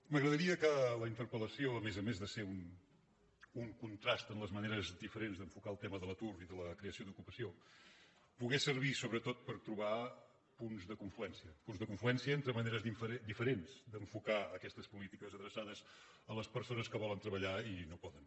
m’agradaria que la interpel·lació a més a més de ser un contrast en les maneres diferents d’enfocar el tema de l’atur i de la creació d’ocupació pogués servir sobretot per trobar punts de confluència punts de confluència entre maneres diferents d’enfocar aquestes polítiques adreçades a les persones que volen treballar i no poden